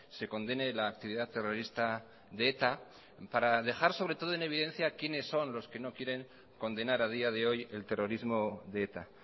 se condene la actividad terrorista de eta para dejar sobre todo en evidencia quienes son los que no quieren condenar a día de hoy el terrorismo de eta